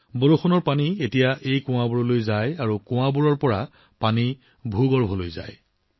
বৰষুণৰ পানী এতিয়া এই কুঁৱাবোৰলৈ যায় আৰু কুঁৱাৰ এই পানী মাটিৰ ভিতৰলৈ যায়